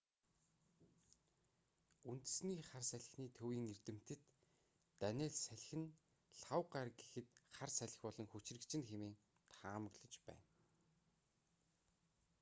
үндэсний хар салхины төвийн эрдэмтэд даниелл салхи нь лхагва гараг гэхэд хар салхи болон хүчирхэгжинэ хэмээн таамаглаж байна